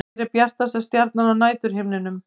Hver er bjartasta stjarnan á næturhimninum?